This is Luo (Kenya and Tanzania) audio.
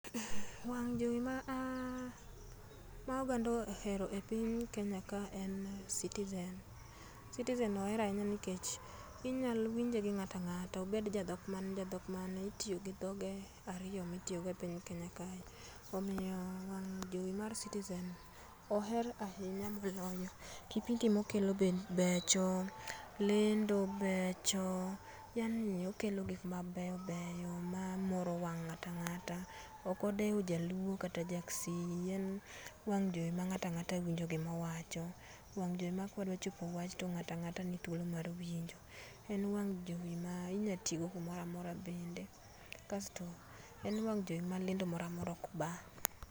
Wang' jowi ma oganda ohero e piny Kenya ka en Citizen. Citizen oer ainya nikech inyalowinje gi ng'atang'ata obed jadhok mane, jadhok mane itiyogi dhoge ariyo mitiyogo e piny Kenya kae omiyo jowi mar Citizen oer ainya moloyo. Kipindi mokelo be becho, lendo becho yaani okelo gikmabeyobeyo mamoro wang' ng'atang'ata. Okodeo jaluo kata jaksii en wang' jowi mang'atang'ata wacho, wang' jowi ma kadwachopo to ng'atang'ata nithuolo mar winjo. En wang' jowi mainyatiogo kumoramora bende kasto en wang' jowi malendo moramora okbaa.